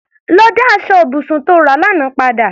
Lọ dá aṣọ ibùsùn tí o rà lánàá padà!